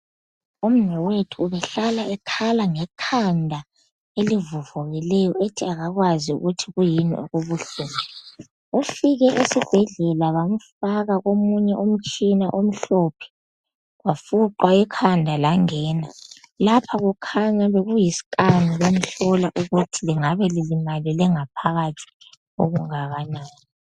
Umnewethu ubehlala ekhala ngekhanda elivuvukileyo ethi akakwazi ukuthi yikuyini okubuhlungu ufike esibhedlela bamfaka omunye umtshina omhlophe wafuqwa ekhanda langena lapha kukhanya bekuyiscan bemhlola ukuthi lingabe lilimalele ngaphakathi okungakanani.